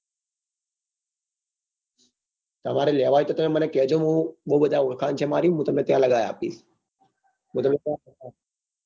તમારે લેવા હોય તો તમે મને કેજો ને હું મારે બઉ બધા ઓળખાણ છે મારી હું તમને ત્યાં લગાવી આપીશ હું તમને